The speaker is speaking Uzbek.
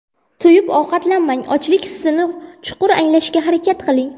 To‘yib ovqatlanmang Ochlik hissini chuqur anglashga harakat qiling.